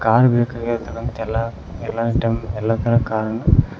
car ಬೇಕಾಗಿರ್ತಕಂತಹ ಎಲ್ಲ time ಎಲ್ಲಾ ಕಾರನ್ನು--